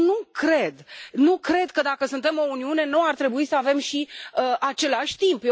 Eu nu cred, nu cred că dacă suntem o Uniune nu ar trebui să avem și același timp.